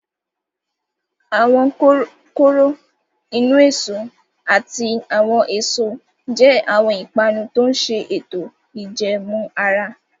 Awọn koro inu-eso ati awọn eso je awọn ipanu to ǹ ṣe eto ijẹẹmu ara